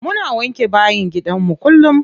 Muna wanke bayin gidanmu kullum.